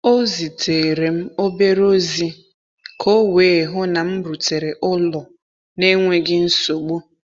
O zitere m obere ozi ka o wee hụ na m rutere ụlọ n’enweghị nsogbu.